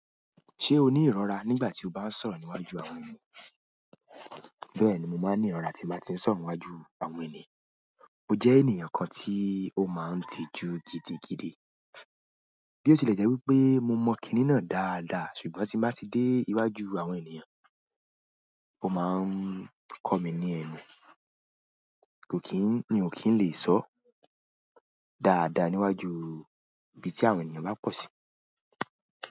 Ṣé o ní ìrọra nígbà tí o bá ń sọ̀rọ̀ níwájú àwọn ènìyàn? Bẹ́ẹ̀ni mo maa n ni irora ti n ba ti n sọ̀rọ̀ níwájú àwọn ènìyàn. Mo jẹ́ ènìyàn kan tí ó máa ń tijú gidigidi bí ó tilẹ̀ jẹ́ wípé mo mọ kìnì náà dáadáa ṣùgbọ́n tí n bá ti dé iwájú àwọn ènìyàn, ó máa ń kọ mí ní ẹnù. Kò kí n, mi ò kí n lè sọ dáadáa níwájú ibi tí àwọn ènìyàn bá pọ̀ sí.